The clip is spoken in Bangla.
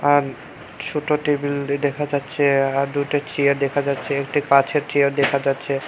আর ছোট টেবিল দেখা যাচ্ছে আর দুইটা চেয়ার দেখা যাচ্ছে কাঁচের চেয়ার দেখা যাচ্ছে।